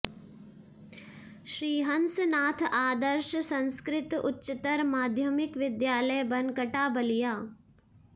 श्री हंसनाथ आदर्श संस्कृत उच्चतर माध्यमिक विद्यालय बनकटा बलिया